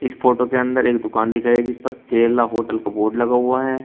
Photo के अंदर एक दुकान दिखाइ जिस पर केरला होटल का बोर्ड लगा हुआ है।